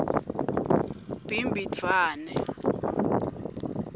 bhimbidvwane